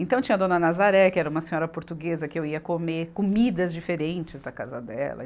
Então tinha a dona Nazaré, que era uma senhora portuguesa, que eu ia comer comidas diferentes da casa dela.